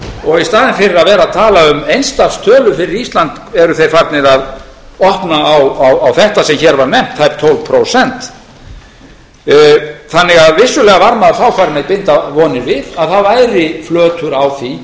og í staðinn fyrir að vera að tala um eins stafs tölu fyrir ísland eru þeir farnir að opna á þetta sem hér var nefnt það er tólf prósent þannig að vissulega var maður þá farinn að binda vonir við að það væri flötur á því